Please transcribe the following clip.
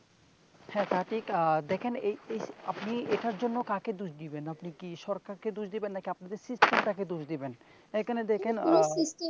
হ্যাঁ তা ঠিক আহ এই এই আপনি এটার জন্য আপনি কাকে দোষ দিবেন? আপনি কি সরকারকে দোষ দিবেন নাকি আপনাদের system টাকে দোষ দিবেন এখানে দেখেন, আহ